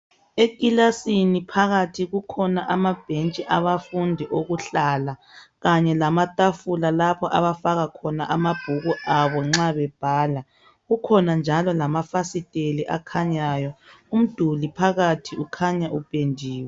Ekilasini phakathi kukhona amabhensthi abafundi okuhlala kanye lamatafula lpho abafaka khona amabhuku abo nxa bebhala. Kukhona njalo lamafasiteli akhanyayo. Umduli phakathi ukhanya upendiwe.